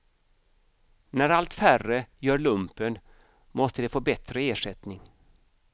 När allt färre gör lumpen måste de få bättre ersättning.